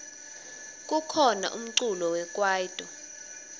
kukhona umculo wekwaito